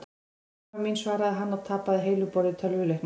Ja, mamma mín svaraði hann og tapaði heilu borði í tölvuleiknum.